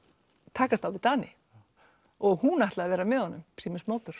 takast á við Dani og hún ætlaði að vera með honum